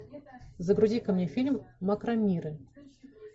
загрузи ка мне фильм макромиры